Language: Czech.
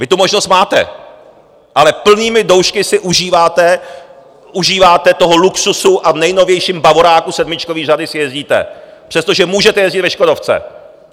Vy tu možnost máte, ale plnými doušky si užíváte toho luxusu a v nejnovějším bavoráku sedmičkové řady si jezdíte, přestože můžete jezdit ve škodovce.